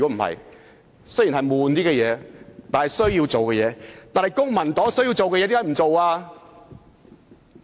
為甚麼公民黨有需要做的工夫卻沒有做？